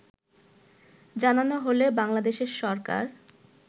জানানো হলে বাংলাদেশের সরকার